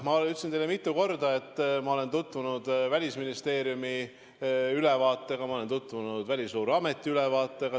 Ma ütlesin teile mitu korda, et ma olen tutvunud Välisministeeriumi ülevaatega, ma olen tutvunud Välisluureameti ülevaatega.